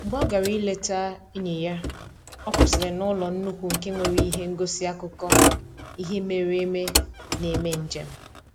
Mgbe ọ gara ileta enyi ya, ọ kwụsịrị n'ụlọ nnukwu nke nwere ihe ngosi akụkọ ihe mere eme na-eme njem